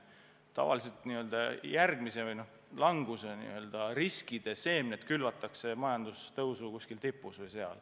Tavaliselt järgmise languse või riskide seemned külvatakse majandustõusu tipus.